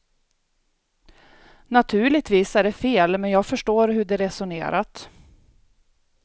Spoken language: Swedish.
Naturligtvis är det fel men jag förstår hur de resonerat.